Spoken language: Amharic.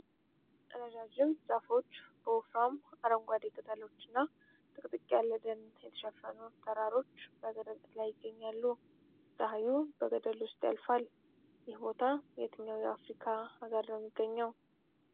ረዣዥም ዛፎች በወፍራም አረንጓዴ ቅጠሎችና ጥቅጥቅ ያለ ደን የተሸፈኑ ተራሮች በገደል ላይ ይገኛሉ። ፀሐይ በገደሉ ውስጥ ያልፋል። ይህ ቦታ የትኛው የአፍሪካ አገር ነው የሚገኘው?